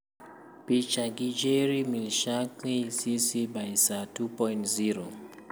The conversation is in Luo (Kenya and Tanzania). Picha gi Jerry Michalski, CC BY-SA 2.0.